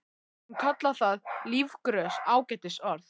Hún kallar það lífgrös, ágætis orð.